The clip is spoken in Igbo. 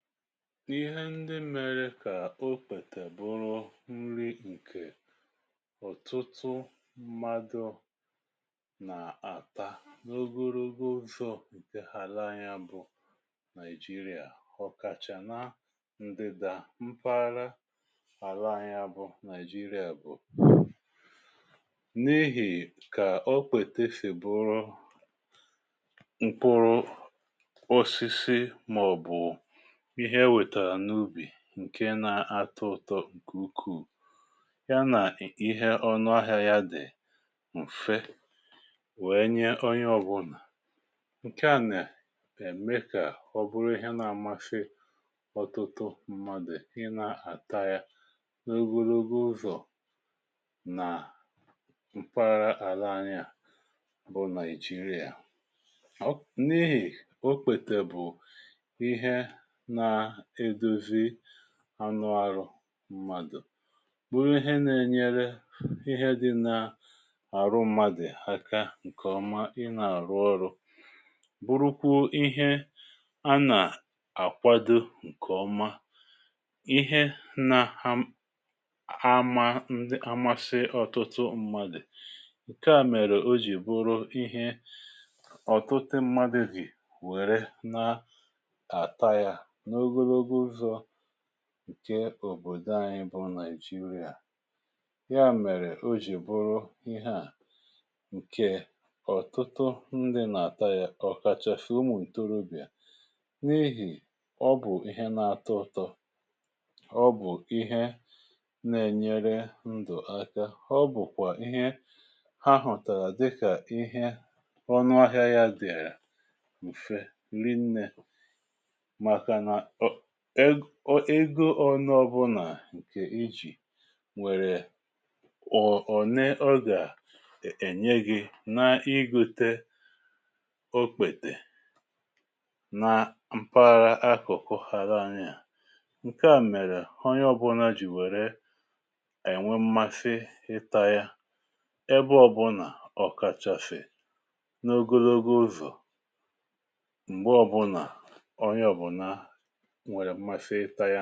Ịhe ndi mèrè kà okpètè bụrụ nri ǹkè ọ̀tụtụ mmadụ̀ nà-àta n’ogorogo ụzọ ǹkè àla anyị a bụ̀ Naijiria. Ọ̀kàchà nà ǹdídà mpaghara àla anyị a bụ̀ Naijiria bụ̀ n’ihì kà okpètè si bụrụ mkpụrụ osisi màọbụ̀ ihe e wètàrà n’ubì ǹke na-atọ ụtọ ǹkè ukwuù ya nà ihe ọnụahịa ya dì ǹfe wèe onye ọ̀bụlà. Nke à nà ème kà ọ bụrụ ihe na-amȧsị ọtụtụ mmadụ̀ ị na-àta ya n’ogologo ụzọ̀ nà mpahara àla anyị a bụ naìjirià. N'ihì o okpètè bụ̀ ihe na edozi anụ̇ àrụ mmadụ̀, bụrụ ihe nȧ-ėnyere ihe dị nà-àrụ mmadụ̀ aka ǹkè ọma ị nà-àrụ ọrụ bụrụkwụ ihe a nà-àkwado ǹkè ọma, ihe nȧ-ama ndị amasị ọ̀tụtụ mmadụ̀. Nkè a mèrè o jì bụrụ ihe ọ̀tụtụ mmadụ̀ jị̀ were na ata ya n' ogologo ụzọ ǹke òbòdò anyị bụ nàìjirià, ya mèrè o jì bụrụ ihe à ǹkè ọ̀tụtụ ndị nà-àta ya ọ̀kàchà sị̀ ụmụ̀ ǹtorobịà n’ihì ọ bụ̀ ihe nà-atọ ụtọ, ọ bụ̀ ihe na-ènyere ndụ̀ aka ọ bụ̀kwà ihe ha hụ̀tàrà dịkà ihe ọnụahịa ya dìàrà m̀fe rinnė maka na um ego ȯnȯ ọ̀bụnà ǹkè ijì nwèrè um ne ọ gà-ènye gị̇ n’igote okpètè na mpara akụ̀kụ ala anyi à ǹke à mèrè onye ọ̀bụna jì wère ènwe mmasị ịta ya ebe ọ̀bụnà ọ̀ka chasi n’ogologo ụzọ̀ m̀gbe ọ̀bụnà onye ọ̀bụna nwere mmasị ita yȧ.